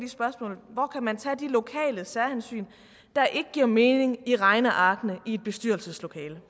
spørgsmål hvor kan man tage de lokale særhensyn der ikke giver mening i regnearkene i et bestyrelseslokale